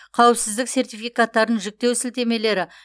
қауіпсіздік сертификаттарын жүктеу сілтемелері